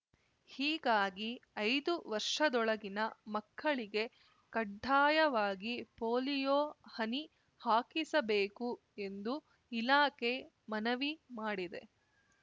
ಹೀಗಾಗಿ ಐದು ವರ್ಷದೊಳಗಿನ ಮಕ್ಕಳಿಗೆ ಕಡ್ಡಾಯವಾಗಿ ಪೋಲಿಯೊ ಹನಿ ಹಾಕಿಸಬೇಕು ಎಂದು ಇಲಾಖೆ ಮನವಿ ಮಾಡಿದೆ